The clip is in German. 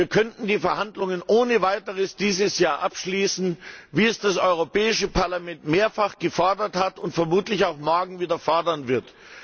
Wir könnten die Verhandlungen ohne weiteres dieses Jahr abschließen, wie es das Europäische Parlament mehrfach gefordert hat und vermutlich auch morgen wieder fordern wird.